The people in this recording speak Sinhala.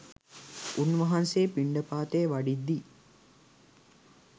උන්වහන්සේ පිණ්ඩපාතේ වඩිද්දී